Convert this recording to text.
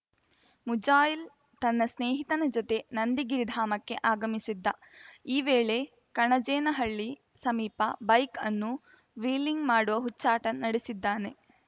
ಮುಜಾಯಿಲ್‌ ತನ್ನ ಸ್ನೇಹಿತನ ಜತೆ ನಂದಿಗಿರಿಧಾಮಕ್ಕೆ ಆಗಮಿಸಿದ್ದ ಈ ವೇಳೆ ಕಣಜೇನಹಳ್ಳಿ ಸಮೀಪ ಬೈಕ್‌ ಅನ್ನು ವ್ಹೀಲಿಂಗ್‌ ಮಾಡುವ ಹುಚ್ಚಾಟ ನಡೆಸಿದ್ದಾನೆ